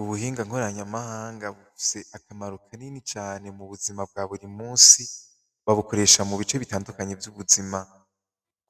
Ubuhingankorany amahanga bufse akamaru ka nini cane mu buzima bwa buri musi babukoresha mu bice bitandukanyi vy'ubuzima